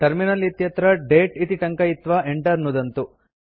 terminal इत्यत्र दते इति टङ्कयित्वा enter नुदन्तु